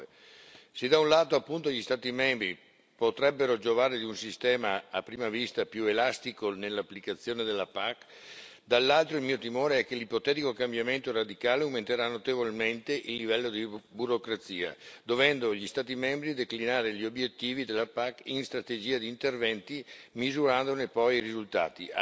2009. Se da un lato, appunto, gli Stati membri potrebbero giovare di un sistema a prima vista più elastico nell'applicazione della PAC, dall'altro il mio timore è che l'ipotetico cambiamento radicale aumenterà notevolmente il livello di burocrazia, dovendo gli Stati membri declinare gli obiettivi della PAC in strategia di interventi, misurandone poi risultati.